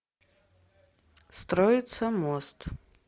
строится мост